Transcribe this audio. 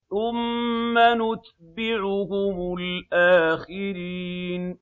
ثُمَّ نُتْبِعُهُمُ الْآخِرِينَ